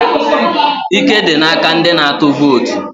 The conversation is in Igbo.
Ike dị n'aka ndị na-atụ vootu.